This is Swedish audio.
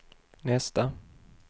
nästa